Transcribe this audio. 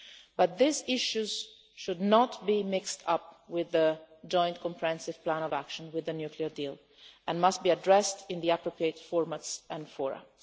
But these issues should not be mixed up with the Joint Comprehensive Plan of Action with the nuclear deal and must be addressed in the appropriate formats and fora.